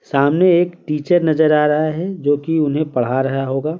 सामने एक टीचर नजर आ रहा है जो कि उन्हें पढ़ा रहा होगा।